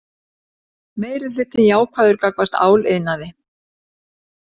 Meirihlutinn jákvæður gagnvart áliðnaði